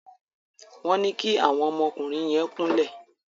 Wón ní kí àwọn ọmọ ọkùnrin yén kún lẹ